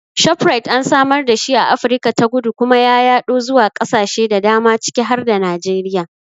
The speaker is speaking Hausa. Shoprite an samar dashi a Afirka ta Kudu kuma ya yaɗo zuwa ƙasashe da dama ciki har da Najeriya.